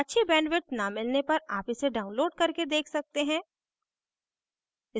अच्छी bandwidth न मिलने पर आप इसे download करके देख सकते हैं